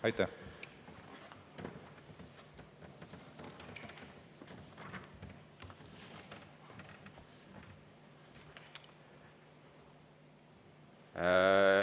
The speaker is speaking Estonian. Aitäh!